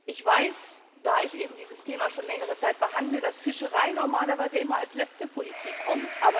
Ich weiß, da ich eben dieses Thema schon längere Zeit behandele, dass Fischerei normalerweise immer als letzte Politik kommt.